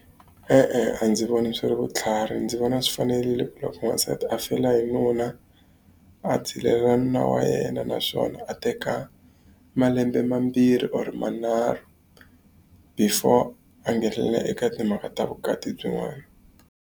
E-e a ndzi voni swi ri vutlhari, ndzi vona swi fanerile ku loko n'wansati a fela hi nuna, a zilela nuna wa yena naswona a teka malembe mambirhi or manharhu before a nghenelela eka timhaka ta vukati byin'wana.